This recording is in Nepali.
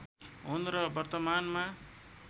हुन् र वर्तमानमा